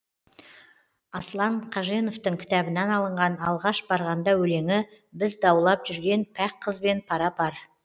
аслан қаженовтың кітабынан алынған алғаш барғанда өлеңі біз даулап жүрген пәк қызбен пара пар